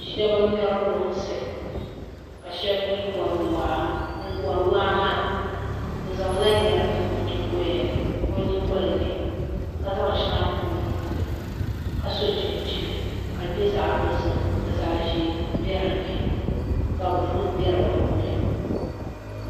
Shab n ŋmɛri lunsi ka shab mii wori waa ŋun wori waa maa o zaŋla yɛri n niŋ o nyingoya ni ka zaŋ shɛŋa niŋ o nuuni ka so chinchin ka di nyɛ zaɣ dozim ka zaɣ ʒiɛ bɛ dinni ka buluu bɛ di puuni